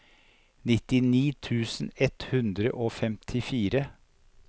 nittini tusen ett hundre og femtifire